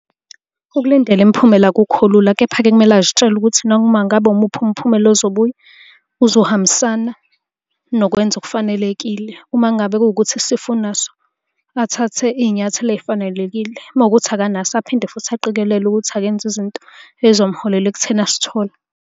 Ukulindela imiphumela akukho lula, kepha-ke kumele azitshele ukuthi noma ngabe umuphi umphumela ozobuya, uzohambisana nokwenza okufanelekile. Uma ngabe kuwukuthi isifo unaso, athathe iy'nyathelo ey'fanelekile. Uma kuwukuthi akanaso aphinde futhi aqikelele ukuthi akenzi izinto ey'zomuholela ekutheni asithole.